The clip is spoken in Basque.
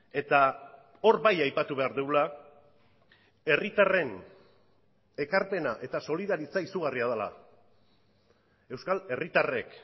eta hor bai aipatu behar dugula herritarren ekarpena eta solidaritza izugarria dela euskal herritarrek